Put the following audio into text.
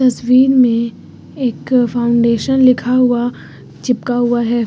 तस्वीर में एक फाउंडेशन लिखा हुआ चिपका हुआ है।